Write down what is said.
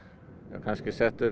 kannski